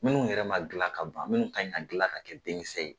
Minnu yɛrɛ ma gilan ka ban, minnu kan ka gilan ka kɛ denkisɛ ye